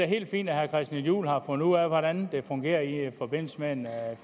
helt fint at herre christian juhl har fundet ud af hvordan det fungerer i forbindelse med en